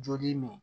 Joli nin